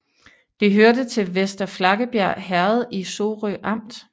Det hørte til Vester Flakkebjerg Herred i Sorø Amt